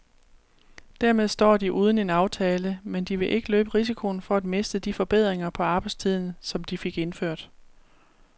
Dermed står de uden en aftale, men de vil ikke løbe risikoen for at miste de forbedringer på arbejdstiden, som de fik indført.